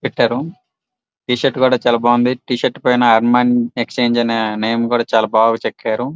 పెట్టారు టి-షర్ట్ కూడా చాల బాగుంది టి-షర్ట్ పైన అర్మాన్ ఎక్స్చేంజి అనే నేమ్ కూడా చాల బాగా చెక్కారు.